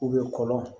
kɔlɔn